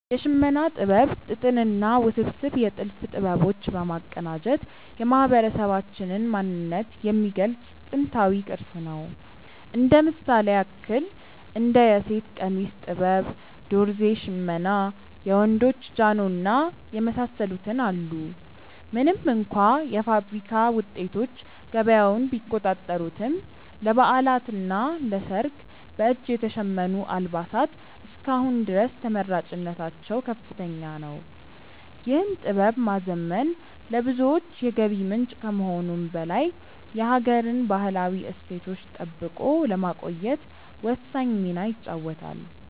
የሽመና ጥበብ ጥጥንና ውስብስብ የጥልፍ ጥበቦች በማቀናጀት የማህበረሰባችንን ማንነት የሚገልጽ ጥንታዊ ቅርስ ነው። እንደ ምሳሌ ያክል እንደ የሴት ቀሚስ ጥበብ፣ ዶርዜ ሽመና፣ የወንዶች ጃኖ እና የመሳሰሉትን አሉ። ምንም እንኳ የፋብሪካ ውጤቶች ገበያውን ቢቆጣጠሩትም፣ ለበዓላትና ለሰርግ በእጅ የተሸመኑ አልባሳት እስከ አሁን ድረስ ተመራጭነታቸው ከፍተኛ ነው። ይህን ጥበብ ማዘመን ለብዙዎች የገቢ ምንጭ ከመሆኑም በላይ የሀገርን ባህላዊ እሴት ጠብቆ ለማቆየት ወሳኝ ሚና ይጫወታል።